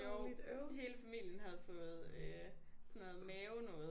Jo hele familien havde fået øh sådan noget mave noget